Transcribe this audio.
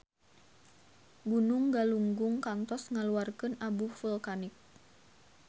Gunung Galunggung kantos ngaluarkeun abu vulkanik